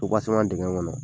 Supaseman dingɛ ma nɔgɔ .